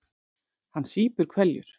Hann sýpur hveljur.